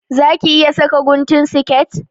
Za ki iya saka guntun siket?